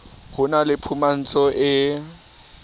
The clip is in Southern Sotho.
ho be le phumantso e